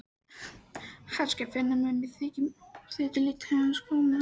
Hann skal finna að mér þykir lítið til hans koma.